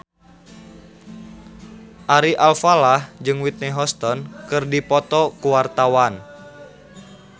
Ari Alfalah jeung Whitney Houston keur dipoto ku wartawan